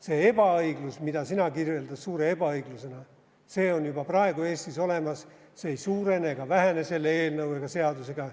See ebaõiglus, mida sina kirjeldad suure ebaõiglusena, on juba praegu Eestis olemas, see ei suurene ega vähene selle eelnõu ega seadusega.